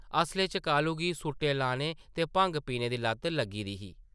असलै च कालू गी सूटे लाने ते भंग पीने दी लत्त लग्गी दी ही ।